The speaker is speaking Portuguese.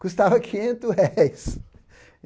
Custava quinhentos réis.